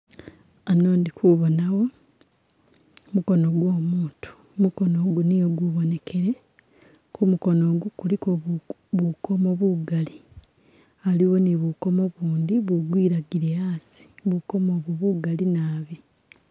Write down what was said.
Hano ndi kubonawo mukono gwo umutu, mukono ugu niyo gubonekele kumukono gu kuliko bukomo bugali haliwo ni bukomo ubundi bugwilagile hasi bukomo obu bugali naabi.